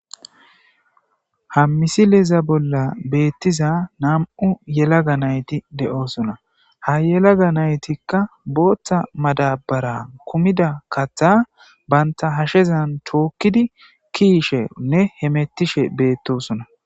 Ha misileeza bolla beettiza nam'u yelaga nayti de'oosona ha yelaga naytikka booththa madabara kumida katha banta hashezan tookkidi kiishenne hemettishe beettosona.